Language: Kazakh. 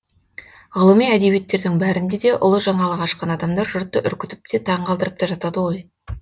ғылыми әдебиеттердің бәрінде де ұлы жаңалық ашқан адамдар жұртты үркітіп те таң қалдырып та жатады ғой